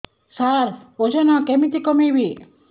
ସାର ଓଜନ କେମିତି କମେଇବି